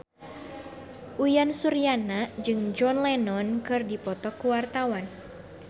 Uyan Suryana jeung John Lennon keur dipoto ku wartawan